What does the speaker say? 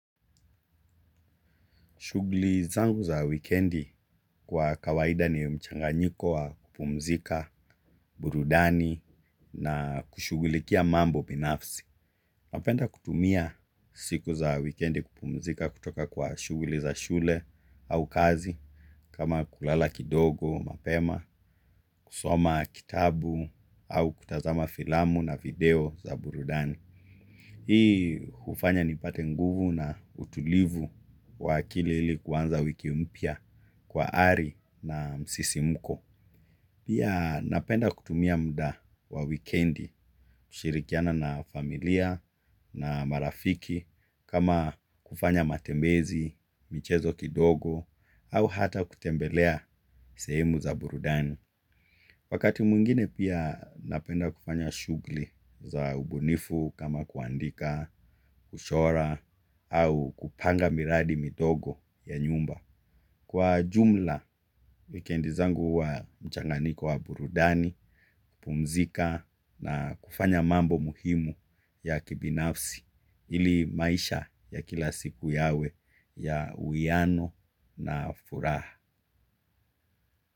Shughuli zangu za wikendi kwa kawaida ni mchanganyiko wa kupumzika, burudani na kushughulikia mambo binafsi. Mapenda kutumia siku za wikendi kupumzika kutoka kwa shughuli za shule au kazi, kama kulala kidogo mapema, kusoma kitabu au kutazama filamu na video za burudani. Hii hufanya nipate nguvu na utulivu wa akili ili kuanza wiki mpya kwa ari na msisimuko. Pia napenda kutumia muda wa wikendi, kushirikiana na familia na marafiki kama kufanya matembezi, michezo kidogo au hata kutembelea sehemu za burudani. Wakati mwingine pia napenda kufanya shughuli za ubunifu kama kuandika, kuchora au kupanga miradi midogo ya nyumba. Kwa jumla, wikendi zangu huwa mchanganyiko wa burudani, kupumzika na kufanya mambo muhimu ya kibinafsi ili maisha ya kila siku yawe ya uwiano na furaha.